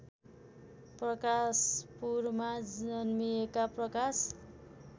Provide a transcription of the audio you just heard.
प्रकाशपुरमा जन्मिएका प्रकाश